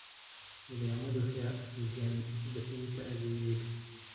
Nidaamyadu waxay hagaajiyaan bixinta adeegga.